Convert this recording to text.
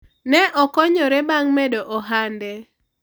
ne okonyore bang' medo ohande